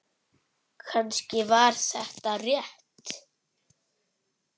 Kannski var þetta rétt.